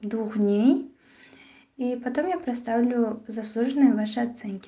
двух дней и потом я представлю заслуженные ваши оценки